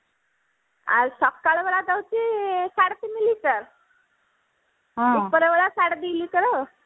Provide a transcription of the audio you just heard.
ଆଉ ସକାଳ ବେଳା ଦଉଛି ସାଢେ ତିନି ଲିଟର ଉପରବେଳା ସାଢେ ଦି ଲିଟର